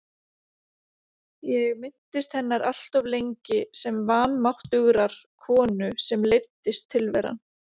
Ég minntist hennar alltof lengi sem vanmáttugrar konu sem leiddist tilveran.